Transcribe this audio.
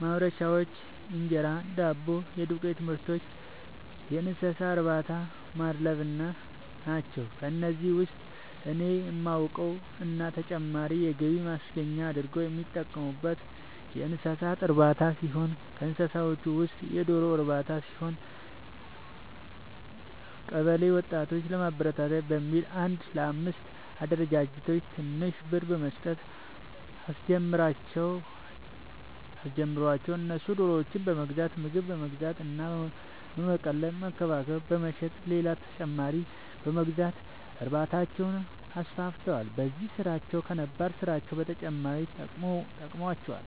ማምረቻዎች(እንጀራ፣ ዳቦ እና የዱቄትምርቶች)፣የእንሰሳትእርባታናማድለብ ናቸው። ከነዚህ ውስጥ እኔ የማውቀው እና ተጨማሪ የገቢ ማስገኛ አርገው የሚጠቀሙበት የእንሰሳት እርባታ ሲሆን ከእንስሳዎቹ ውስጥም የዶሮ ርባታ ሲሆን፤ ቀበለ ወጣቶችን ለማበረታታት በሚል አንድ ለአምስት አደራጅቶ ትንሽ ብር በመስጠት አስጀመራቸው እነሱም ዶሮዎችን በመግዛት ምግብ በመግዛት እና በመቀለብ በመንከባከብ በመሸጥ ሌላ ተጨማሪ በመግዛት እርባታቸውን አስፋፍተዋል። በዚህም ስራቸው ከነባር ስራቸው በተጨማሪ ጠቅሞዋቸዋል።